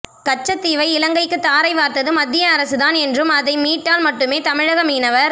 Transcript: கச்சத் தீவை இலங்கைக்கு தாரை வார்த்தது மத்திய அரசுதான் என்றும் அதை மீட்டால் மட்டுமே தமிழக மீனவர்